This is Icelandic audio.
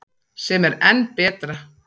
Sem er enn betra.